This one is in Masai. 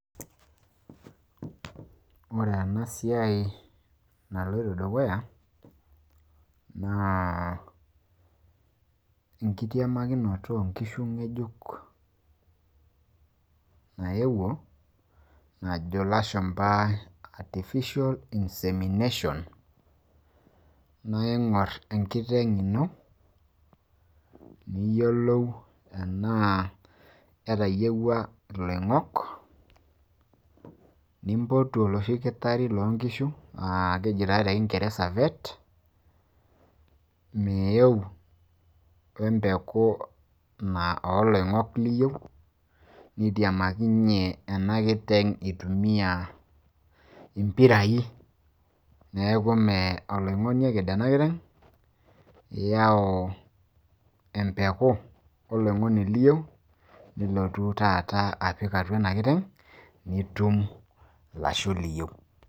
ore entoki edukuya naa enkitiamakinoto oonkishu, nayewuo, najo lashumpa, artificial inseminations naa ing'or enkiteng ino niyiolou tenaa ketayiwua oloing'oni, nimpotu oloshi dakitari loo nkishu naa keji naa te kingeresa vet .meeu we mpeku niyieu, nitiamakinye ena kiteng' itumia, mpirai, neeku mme oloing'ni oked ena kiteng. iyau emepuko oloing'oni liyieu nilotu taata aitiamakinye enkiteng' ino.